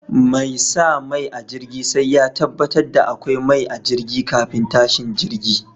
Mai sa mai a jirgi sai ya tabbatar da akwai mai a jirgi kafin tashin jirgi.